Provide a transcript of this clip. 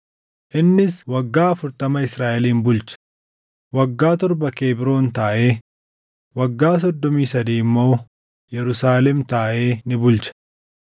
Innis waggaa afurtama Israaʼelin bulche; waggaa torba Kebroon taaʼee, waggaa soddomii sadii immoo Yerusaalem taaʼee ni bulche.